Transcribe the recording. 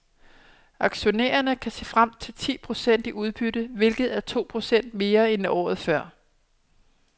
Aktionærerne kan se frem til ti procent i udbytte, hvilket er to procent mere end året før.